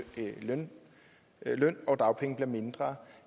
mellem løn og dagpenge bliver mindre